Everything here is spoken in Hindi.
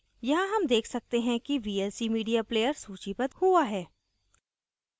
यहाँ हम देख सकते हैं कि vlc media player सूचीबद्ध हुआ है